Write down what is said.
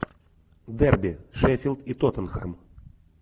дерби шеффилд и тоттенхэм